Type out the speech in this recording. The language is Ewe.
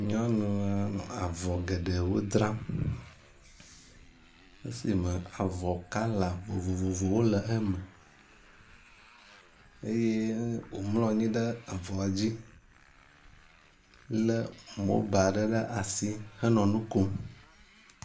Nyɔnua nɔ avɔ geɖewo dzram. Esi me avɔ kala vovovowo le eme eye womlɔ anyi ɖe avɔa dzi le mobal ɖe ɖe asi henɔ nu kom.